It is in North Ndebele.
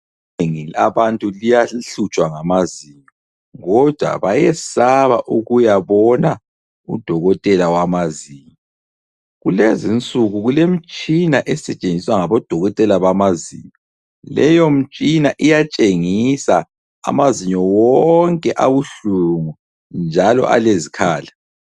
Inengi labantu liyahlutshwa ngamazinyo kodwa bayesaba ukuyabona udokotela wamazinyo. Kulezinsuku kulemitshina esetshenziswa ngabodokotela bamazinyo ,leyo mtshina iyatshengisa amazinyo wonke abuhlungu njalo alezikhala.